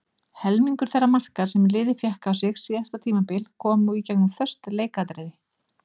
Helmingur þeirra marka sem liðið fékk á sig síðasta tímabil komu í gegnum föst leikatriði.